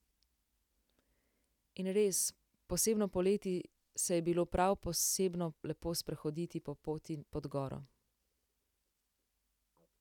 In res, posebno poleti se je bilo prav posebno lepo sprehoditi po poti pod goro.